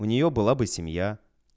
у нее была бы семья